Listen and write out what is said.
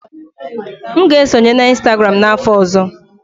M ga-esonye na Instagram n'afọ ọzọ.